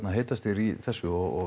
heitastir í þessu og